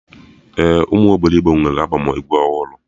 Ee, ụmụ obilogbo nwere albọm egwu ọhụrụ